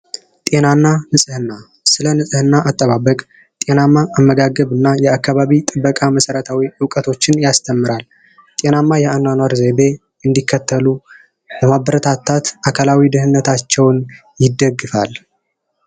ጤናና ንጽህና ስለ ንጽህና አጠባበቅ እና ጤናማ አመጋገብና የአካባቢ ጥበቃ መሰረታዊ እውቀቶችን ያስተምራል። ጤናማ የአኗኗር ዘይቤ እንዲከተሉ በማበረታታት አካላዊ ደህንነታቸውን ይደግፋል።